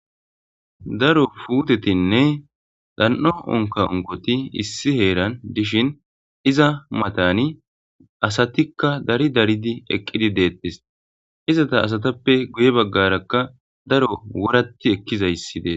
daro puutetinne dan7o onka ongoti issi heeran dishin iza matani asatikka dari daridi eqqidi deettis izata asatappe guye baggarakka daro wuratti ekkizayssidee